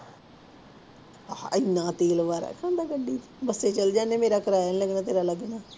ਇੰਨਾ ਤੇਲ ਬਾਰਾ ਖਾਂਦਾ ਗੱਡੀ ਚ, ਬਸੇ ਚਲੇ ਜਾਂਦੇ ਆਂ ਮੇਰਾ ਕਰਾਇਆ ਨਾ ਲਾਈ ਮੈਂ ਤੇਰਾ ਲਾ ਦੇਣਾ।